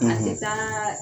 ; A tɛ taaa